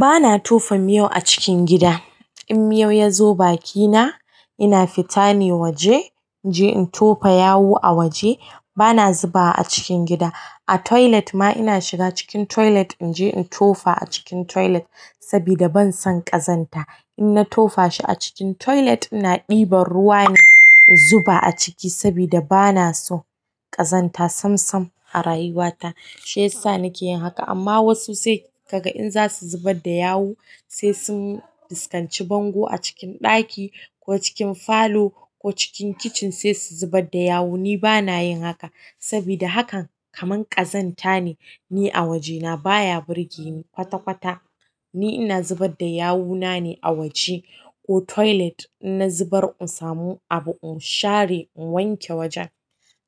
Bana tofa miyau a cikin gida, in miyau ya zo bakina, ina fita ne waje, inje in tofa yawu a waje. Bana zuba a cikin gida. A toilet ma ina shiga cikin toilet inje in tofa a cikin toilet sabida ban san ƙazanta, in na tofa shi a cikin toilet, ina ɗiban ruwa ne in zuba a ciki sabida bana so ƙazanta sam sam a rayuwata, shi yasa nike yin haka, amma wasu sai kaga in za su zubar da yawu, sai sun fuskanci bango a cikin ɗaki ko cikin falo ko cikin kitchen sai su zubad, da yawu. Ni bana yin haka sabida hakan kaman ƙazanta ne. Ni a wajena baya burge ni kwata kwata, ni ina zubar da yawuna ne a waje ko toilet, in na zubar in samu abu in share in wanke wajen,